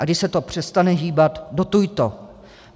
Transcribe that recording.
A když se to přestane hýbat, dotuj to.